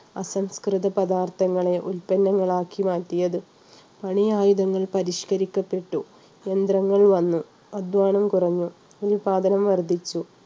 അസംസ്കൃത പദാർത്ഥങ്ങളെ ഉൽപ്പന്നങ്ങൾ ആക്കി മാറ്റിയത് പണി ആയുധങ്ങൾ പരിഷ്കരിക്കപ്പെട്ടു യന്ത്രങ്ങൾ വന്നു അധ്വാനം കുറഞ്ഞു ഉൽപാദനം വർദ്ധിച്ചു.